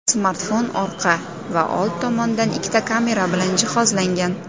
Smartfon orqa va old tomondan ikkita kamera bilan jihozlangan.